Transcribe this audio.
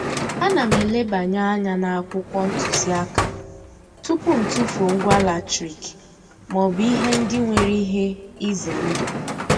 Ana m elebanye anya n'akwụkwọ ntụziaka tupu m tufuo ngwa latrik maọbụ ihe ndị nwere ihe ize ndụ.